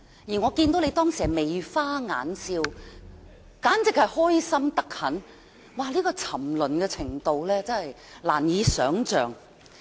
而我當時看到你眉花眼笑，十分興奮，沉淪的程度真是難以想象。